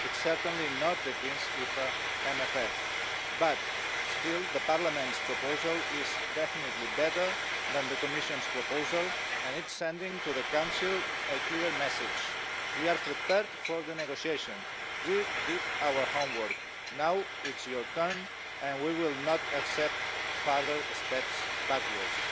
It's certainly not the Greens EFA's MFF but still, Parliament's proposal is definitely better than the Commission's proposal and it's sending the Council a clear message we are prepared for the negotiations, we did our homework, now it's your turn and we will not accept further steps backwards.